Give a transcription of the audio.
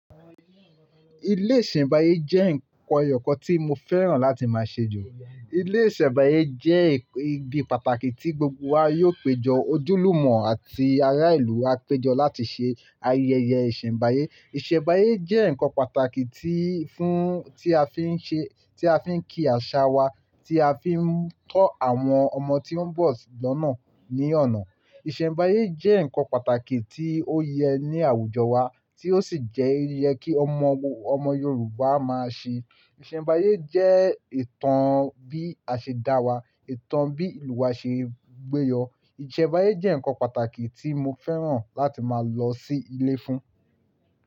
Ilé ìṣẹ̀nbáyé jẹ́ nǹkan ẹyọ̀ kan tí mo fẹ́ràn láti máa ṣèjọ. Ilé ìṣẹ̀nbáyé jẹ́ ibi pàtàkì tí gbogbo wa yóò péjọ, ojúlùmọ̀ àti ará ìlú á péjọ láti ṣe ayẹyẹ ìṣẹ̀nbáyé. Ìṣẹ̀nbáyé jẹ́ nǹkan pàtàkì tí fún-- tí a fi ń ṣe-- tí a fi ń kí àṣà wa, tí a fi ń kọ́ àwọn ọmọ tí ó ń bọ̀ lọ́nà ní ọ̀nà. Ìṣẹ̀nbáyé jẹ́ nǹkan pàtàkì tí ó yẹ ní àwùjọ wa, tí ó sì jẹ́ yẹ kí ọmọ, ọmọ Yorùbá máa ṣe. Ìṣẹ̀nbáyé jẹ́ ìtàn bí a ṣe dá wa, ìtàn bí ìlú wa ṣe gbé yọ. Ìṣẹ̀nbáyé jẹ́ nǹkan pàtàkì tí mo fẹ́ràn láti máa lọ sí ilé fún.